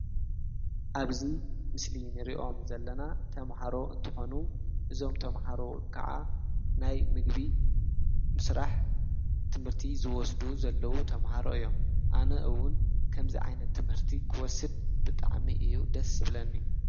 ኣብዙይ ምስሊ ንርእዮም ዘለና ተምሃሮ እንተኾኑ እዞም ተምሃሮ ከዓ ናይ ምግቢ ምስራሕ ትምህርቲ ዝወስዱ ዘለዉ ተምሃሮ እዮም ኣነ እውን ከምዝ ዓይነት ትምህርቲ ክወስድ ብጥዕሚ እዩ ደስ እብለኒ።